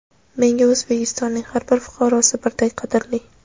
Menga O‘zbekistonning har bir fuqarosi birdek qadrli.